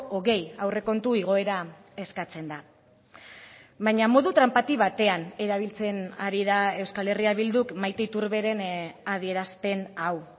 hogei aurrekontu igoera eskatzen da baina modu tranpati batean erabiltzen ari da euskal herria bilduk maite iturberen adierazpen hau